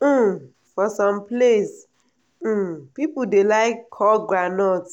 um for some place um people dey like call groundnut